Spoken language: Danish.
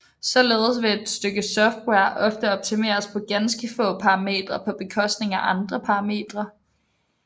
Således vil et stykke software ofte optimeres på ganske få parametre på bekostning af andre parametre